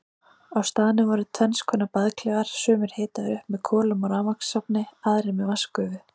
Á staðnum voru tvennskonar baðklefar, sumir hitaðir upp með kolum á rafmagnsofni, aðrir með vatnsgufu.